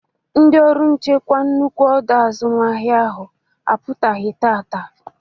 Ndị ọrụ nchekwa nnukwu ọdọ azụmahịa ahụ apụtaghị taata.